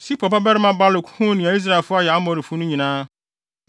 Sipor babarima Balak huu nea Israelfo ayɛ Amorifo no nyinaa,